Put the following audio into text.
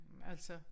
Altså